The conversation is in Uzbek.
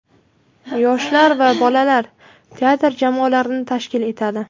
yoshlar va bolalar teatr jamoalarini tashkil etadi;.